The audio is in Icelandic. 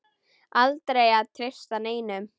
Aldrei að treysta neinum.